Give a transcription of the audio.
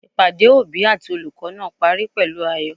Ìpàdé òbí àti olùkó náà parí pèlú ayò